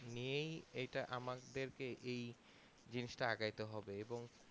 নিয়েই এটা আমাদের কে এই জিনিসটা আগামীতে হবে এবং